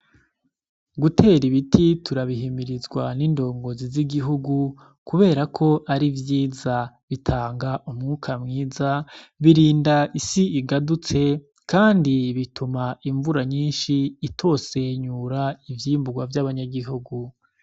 Gutera ibiti turabihimirizwa n'indongozi z'igihugu kubera ko ari vyiza, bitanga umwuka mwiza, birinda isi igadutse kandi bituma imvura nyinshi itosenyura ivyimbugwa vy'abanyagihugu.